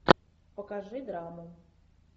покажи драму